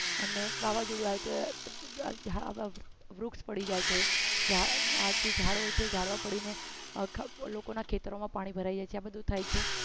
અને વાવાઝોડુંઆવ્યું વૃક્ષ પડી જાય છે આ જે ઝાડ હોય છે ઝાડવા પડીને આખા લોકોના ખેતરોમાં પાણી ભરાઈ જાય છે આ બધું થાય છે